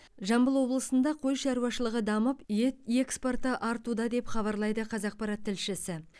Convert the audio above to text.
жамбыл облысында қой шаруашылығы дамып ет экспорты артуда деп хабарлайды қазақпарат тілшісі